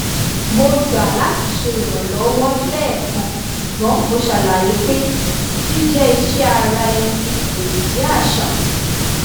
mo gbà láti ṣe ìrànlọ́wọ́ lẹ́ẹ̀kan ṣùgbọ́n mo ṣàlàyé pé jíjẹ́ iṣẹ́ ara ẹni kò lè jẹ́ àṣà